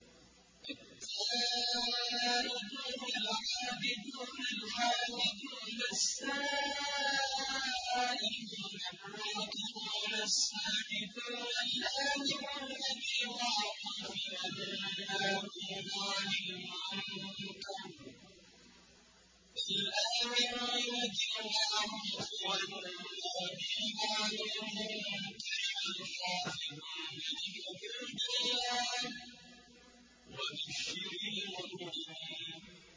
التَّائِبُونَ الْعَابِدُونَ الْحَامِدُونَ السَّائِحُونَ الرَّاكِعُونَ السَّاجِدُونَ الْآمِرُونَ بِالْمَعْرُوفِ وَالنَّاهُونَ عَنِ الْمُنكَرِ وَالْحَافِظُونَ لِحُدُودِ اللَّهِ ۗ وَبَشِّرِ الْمُؤْمِنِينَ